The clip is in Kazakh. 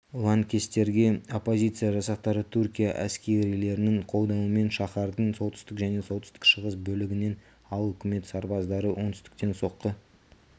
лаңкестерге оппозиция жасақтары түркия әскерилерінің қолдауымен шаһардың солтүстік және солтүстік-шығыс бөлігінен ал үкімет сарбаздары оңтүстіктен соққы